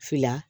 Fila